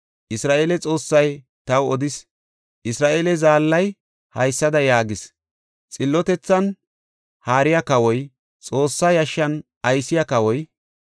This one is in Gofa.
Isra7eele Xoossay taw odis; Isra7eele Zaallay haysada yaagis. ‘Xillotethan haariya kawoy, Xoossa yashshan aysiya kawoy,